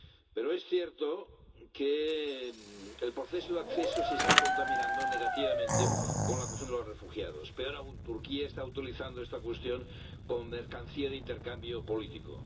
Pero es cierto que el proceso de adhesión se está contaminando negativamente con la cuestión de los refugiados. Peor aún, Turquía está utilizando esta cuestión como mercancía de intercambio político.